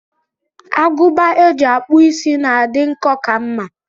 Agụba eji akpụ is na-adị nkọ ka mma.